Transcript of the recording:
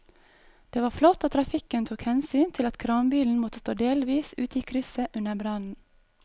Det var flott at trafikken tok hensyn til at kranbilen måtte stå delvis ute i krysset under brannen.